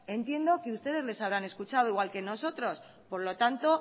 entiendo que ustedes les habrán escuchado igual que nosotros por lo tanto